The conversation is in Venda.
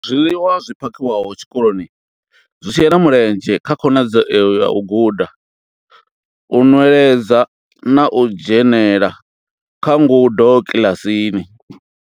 Zwiḽiwa zwi phakhiwaho tshikoloni zwi shela mulenzhe kha khonadzeo ya u guda, u nweledza na u dzhenela kha ngudo kiḽasini.